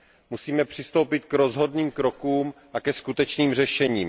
Musíme přistoupit k rozhodným krokům a ke skutečným řešením.